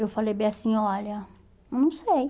Eu falei bem assim, olha, eu não sei.